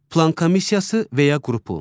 Plan komissiyası və ya qrupu.